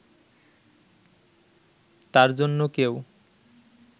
তার জন্য কেউ